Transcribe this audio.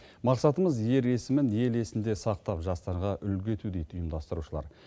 мақсатымыз ер есімін ел есінде сақтап жастарға үлгі ету дейді ұйымдастырушылар